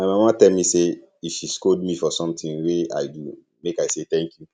my mama tell me say if she scold me for something wey i do make i say thank you